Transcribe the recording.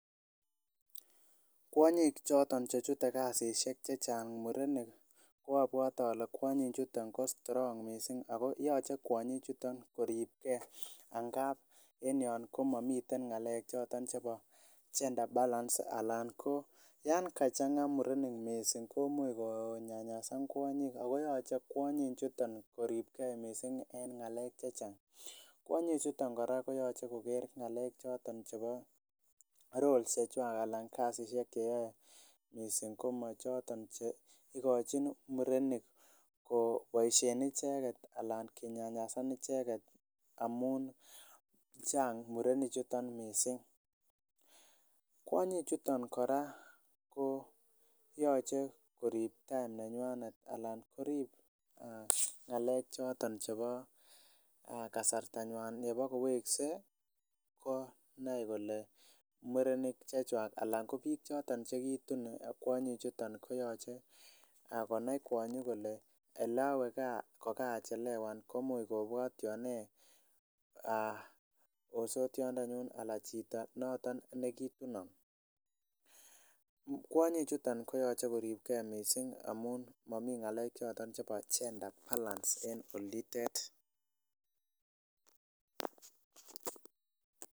Kwonyiik choton chetute kasisiek chechang' murenik ko obwote ole kwonyiik choton ko strong missing ako yoche kwonyichuton koribgee angaab en yon komomiten ng'alechoton chebo gender balance alan ko yan kachang'a murenik missing komuch konyanyasan kwonyiik ako yoche kwonyichuton koribgee missing en ng'alek chechang',kwonyichuton kora koyoche koger ng'alek choton chebo roles chechwak alan kasisiek cheyoe missing ko mo choton cheigochin murenik koboisien icheget alan kinyanyasan icheget amun chang' murenik chuton missing, kwonyichuton kora koyoche koriib time nenywanet alan koriib ng'alek choton chebo kasartanywan yebokowekse konai kole murenik chechwak anan ko biik choton chegitun chuton koyoche konai kwonyi kole oleowe gaa kokarachelewan ko much kobwotyon nee osotyondenyun alan chito noton negitunon, kwonyichuton koyoche koribgee missing amun momi ng'alechoton chebo gender balance en olitet.